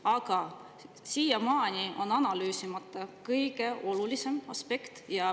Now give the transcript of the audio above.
Aga siiamaani on analüüsimata kõige olulisem aspekt.